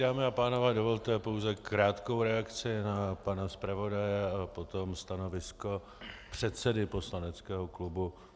Dámy a pánové, dovolte pouze krátkou reakci na pana zpravodaje a potom stanovisko předsedy poslaneckého klubu.